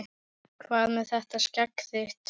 Hvað með þetta skegg þitt.